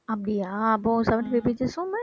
அப்படியா அப்போ seventy-five pages